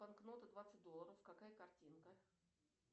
банкнота двадцать долларов какая картинка